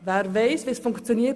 Wer weiss, wie es funktioniert?